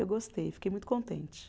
Eu gostei, fiquei muito contente.